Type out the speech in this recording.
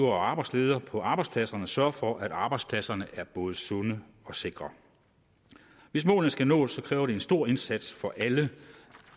og arbejdsledere på arbejdspladserne sørger for at arbejdspladserne er både sunde og sikre hvis målene skal nås kræver det en stor indsats fra alle